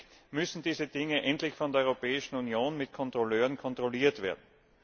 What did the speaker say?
Zusätzlich müssen diese Dinge endlich von der Europäischen Union durch Kontrolleure kontrolliert werden.